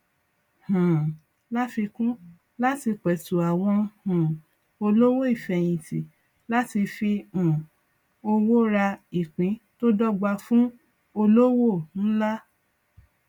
um láfikún láti petu àwọn um olówò ifeyinti láti fi um owó rà ìpín tó dọgba fún olówò ńlá